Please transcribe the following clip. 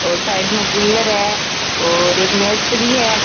और साइड में कूलर है और एक मेज पड़ी है।